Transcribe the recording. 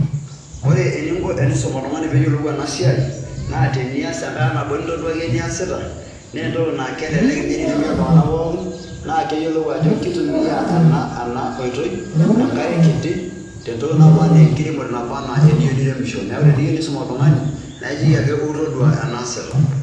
Ore eninko enisum oltung'ani pee eyolou ena siai naa tenias enkata nabo nintoduaki eniasita naa entoki naa kelelek nye enitumia iltung'anak pookin naa keyolou ajo kitumia ena ena oitoi enkare kiti tentoki naba enaa enkiremore naba naa eniyeu niremisho. Neeku eniyeu nisum oltung'ani naake ijoki ake ou tadua enaasita.